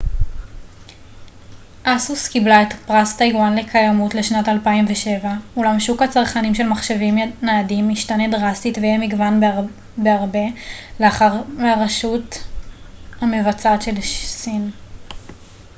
אולם שוק הצרכנים של מחשבים ניידים ישתנה דרסטית ויהיה מגוון בהרבה לאחר ש-asus קיבלה את פרס טאיוואן לקיימות לשנת 2007 מהרשות המבצעת של סין